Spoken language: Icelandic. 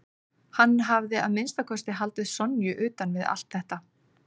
Hann hafði að minnsta kosti haldið Sonju utan við allt þetta.